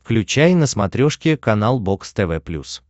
включай на смотрешке канал бокс тв плюс